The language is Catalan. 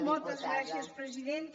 moltes gràcies presidenta